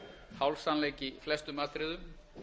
hálfsannleik í flestum atriðum